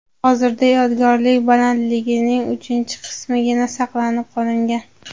Hozirda yodgorlik balandligining uchinchi qismigina saqlanib qolingan.